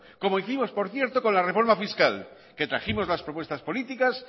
como hicimos por cierto con la reforma fiscal que trajimos las propuestas políticas